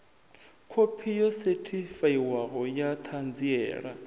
khophi yo sethifaiwaho ya ṱhanziela